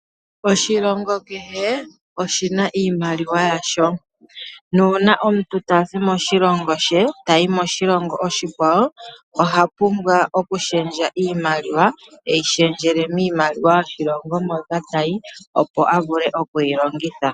Oshilongo kehe oshina iimaliwa yasho, nuuna omuntu tayi moshilongo oshikwawo tazi moshilongo she ohapumbwa okushendja iimaliwa eyi shendjele miimaliwa yoshilongo hoka ta yi opo avule okuyi longitha.